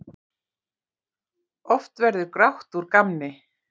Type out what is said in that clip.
Oft verður grátt úr gamni.